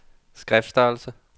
skriftstørrelse